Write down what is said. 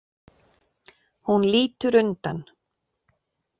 Hún lítur undan.